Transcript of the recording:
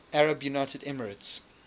united arab emirates